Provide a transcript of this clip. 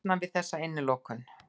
Losnað við þessa innilokun.